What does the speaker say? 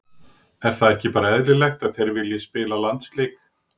Er það ekki bara eðlilegt að þeir vilji spila landsleiki?